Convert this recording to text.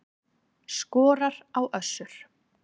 Skorar á Össur